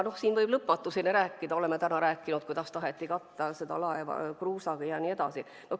Siin võib lõpmatuseni rääkida, oleme ka täna rääkinud, kuidas taheti katta laeva kruusaga ja nii edasi.